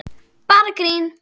Bara grín!